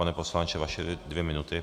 Pane poslanče vaše dvě minuty.